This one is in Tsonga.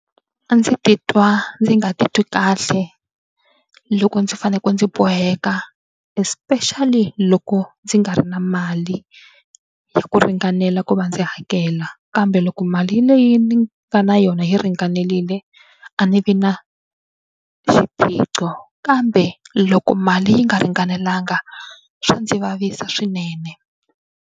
A ndzi titwa ndzi nga titwi kahle loko ndzi faneleke ndzi boheka especially loko ndzi nga ri na mali ya ku ringanela ku va ndzi hakela kambe loko mali leyi ni nga na yona yi ringanerile a ni vi na xiphiqo kambe loko mali yi nga ringanelanga swa ndzi vavisa swinene.